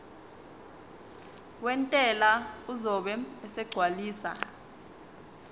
wentela uzobe esegcwalisa